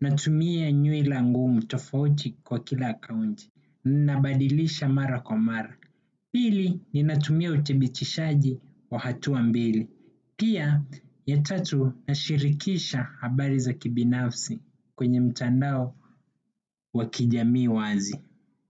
natumia nywila ngumu tofauti kwa kila akaunti, ninabadilisha mara kwa mara. Pili, ninatumia uthibitishaji wa hatua mbili. Pia, ya tatu nashirikisha habari za kibinafsi kwenye mtandao wa kijamii wazi.